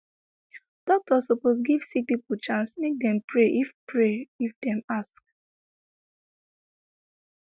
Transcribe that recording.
doctor sopose give sick pipo chance make dem pray if pray if dem ask